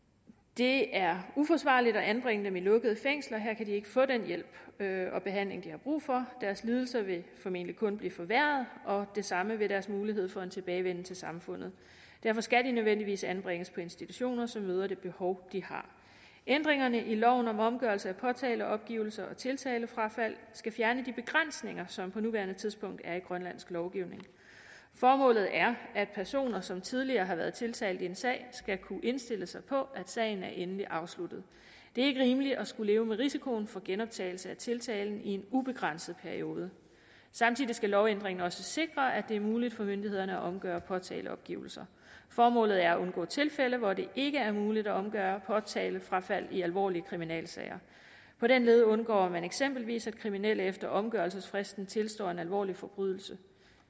det er uforsvarligt at anbringe dem i lukkede fængsler her kan de ikke få den hjælp og behandling de har brug for deres lidelse vil formentlig kun blive forværret og det samme vil deres mulighed for en tilbagevenden til samfundet derfor skal de nødvendigvis anbringes på institutioner som møder det behov de har ændringerne i loven om omgørelse af påtaleopgivelser og tiltalefrafald skal fjerne de begrænsninger som der på nuværende tidspunkt er i grønlandsk lovgivning formålet er at personer som tidligere har været tiltalt i en sag skal kunne indstille sig på at sagen er endeligt afsluttet det er ikke rimeligt at skulle leve med risikoen for genoptagelse af tiltalen i en ubegrænset periode samtidig skal lovændringen sikre at det er muligt for myndighederne at omgøre påtaleopgivelser formålet er at undgå tilfælde hvor det ikke er muligt at omgøre påtalefrafald i alvorlige kriminalsager på den led undgår man eksempelvis at kriminelle efter omgørelsesfristen tilstår en alvorlig forbrydelse